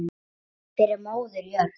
Fyrir móður jörð.